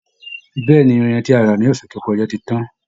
Bẹ́ẹ̀ ni, irin tí a rà ní ọ̀ṣẹ̀ tó kọja ti tán